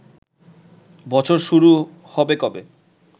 বছর শুরু হবে কবে